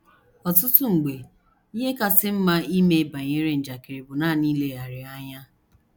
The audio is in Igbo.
Ọtụtụ mgbe, ihe kasị mma ime banyere njakịrị bụ nanị ileghara ya anya